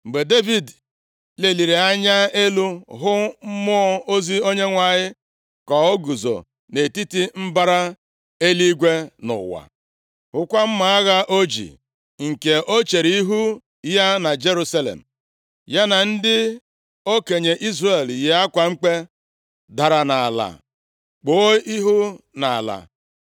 Mgbe Devid leliri anya elu hụ mmụọ ozi Onyenwe anyị ka o guzo nʼetiti mbara eluigwe na ụwa, hụkwa mma agha o ji, nke o chere ihu ya na Jerusalem, ya na ndị okenye Izrel yi akwa mkpe, dara nʼala kpuo ihu nʼala.